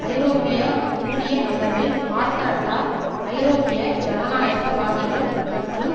ஐரோப்பிய ஒன்றிய அளவில் மார்கரட்டா ஐரோப்பிய ஜனநாயகவாதிகள் மற்றும்